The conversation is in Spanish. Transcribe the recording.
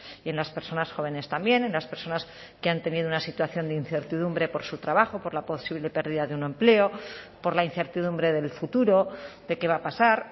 y en las personas jóvenes también en las personas que han tenido una situación de incertidumbre por su trabajo por la posible pérdida de un empleo por la incertidumbre del futuro de qué va a pasar